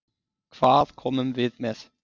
Hvað komum við með?